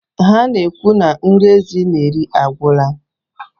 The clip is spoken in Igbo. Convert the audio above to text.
Ha na-ekwu na nri ezi na-eri agwụla.